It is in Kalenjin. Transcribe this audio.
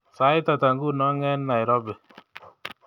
Sait ata nguno eng Nairobi